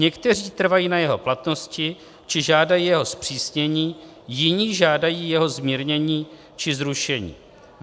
Někteří trvají na jeho platnosti či žádají jeho zpřísnění, jiní žádají jeho zmírnění či zrušení.